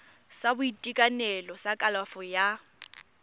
sa boitekanelo sa kalafo ya